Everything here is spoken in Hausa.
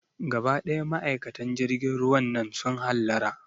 Gaba ɗaya ma'aikatan jirgin ruwan nan su hallara